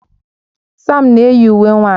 Sam na-eyi uwe nwanyị